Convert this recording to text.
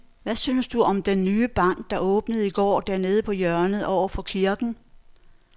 Hvad synes du om den nye bank, der åbnede i går dernede på hjørnet over for kirken?